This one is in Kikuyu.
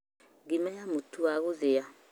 Ngima ya mũtu wa gũthĩa